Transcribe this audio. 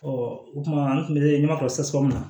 o kuma an tun bɛ ɲɛmakɔrɔ sasɔ min na